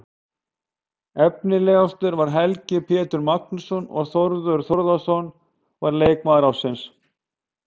Efnilegastur var Helgi Pétur Magnússon og Þórður Þórðarson var leikmaður ársins.